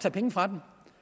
tage penge fra dem